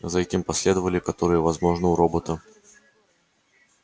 за этим последовали возможно у робота